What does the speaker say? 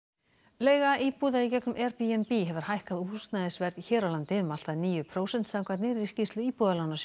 leiga íbúða í gegnum Airbnb hefur hækkað húsnæðisverð hér á landi um allt að níu prósent samkvæmt nýrri skýrslu Íbúðalánasjóðs